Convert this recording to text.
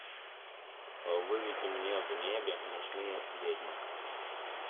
выведи мне в небе ночные ведьмы